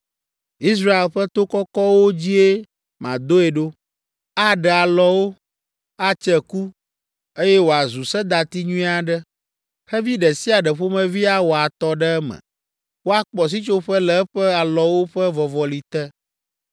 Israel ƒe to kɔkɔwo dzie madoe ɖo; aɖe alɔwo, atse ku, eye wòazu sedati nyui aɖe. Xevi ɖe sia ɖe ƒomevi awɔ atɔ ɖe eme. Woakpɔ sitsoƒe le eƒe alɔwo ƒe vɔvɔli te.